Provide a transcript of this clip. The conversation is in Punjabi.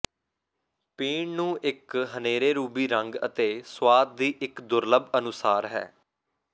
ਪੀਣ ਨੂੰ ਇੱਕ ਹਨੇਰੇ ਰੂਬੀ ਰੰਗ ਅਤੇ ਸੁਆਦ ਦੀ ਇੱਕ ਦੁਰਲੱਭ ਅਨੁਸਾਰ ਹੈ